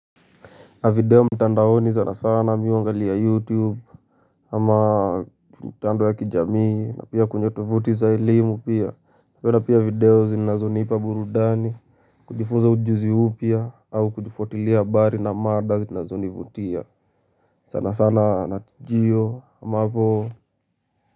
A video mtandaoni sana sana mi uangalia Youtube ama mtandao ya kijamii na pia kwenye tovuti za elimu pia. Mara pia video zinazonipa burudani. Kujifunza ujuzi huu pia au kujifuatilia bari na mada zinazonivutia. Sana sana. Natijio ama po.